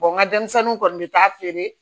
n ka denmisɛnninw kɔni bɛ taa feere